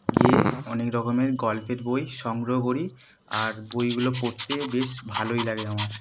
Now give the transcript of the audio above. গিয়ে অনেক রকমের গল্পের বই সংগ্রহ করি আর বইগুলো পড়তে বেশ ভালই লাগে আমার।